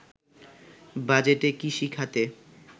বাজেটে কৃষিখাতে